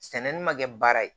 Sɛnɛni ma kɛ baara ye